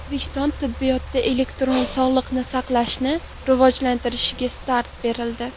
O‘zbekiston tibbiyotida elektron sog‘liqni saqlashni rivojlantirishga start berildi.